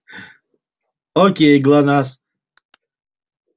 окей глонассс